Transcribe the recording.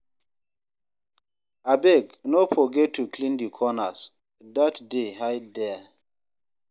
Abeg, no forget to clean di corners, dirt dey hide there.